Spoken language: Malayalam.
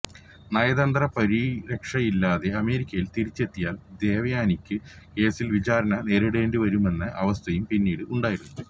നയതന്ത്ര പരിരക്ഷയില്ലാതെ അമേരിക്കയിൽ തിരിച്ചെത്തിയാൽ ദേവയാനിക്കു കേസിൽ വിചാരണ നേരിടേണ്ടിവരുമെന്ന അവസ്ഥയും പിന്നീട് ഉണ്ടായിരുന്നു